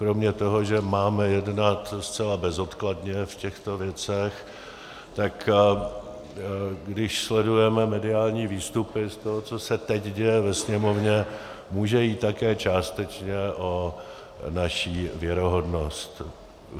Kromě toho, že máme jednat zcela bezodkladně o těchto věcech, tak když sledujeme mediální výstupy z toho, co se teď děje ve Sněmovně, může jít také částečně o naši věrohodnost.